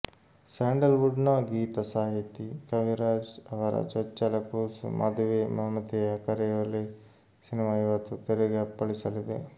sandal ವುಡ್ನ ಗೀತ ಸಾಹಿತಿ ಕವಿರಾಜ್ ಅವರ ಚೊಚ್ಚಲ ಕೂಸು ಮದುವೆ ಮಮತೆಯ ಕರೆಯೋಲೆ ಸಿನಿಮಾ ಇವತ್ತು ತೆರೆಗೆ ಅಪ್ಪಳಿಸಲಿದೆ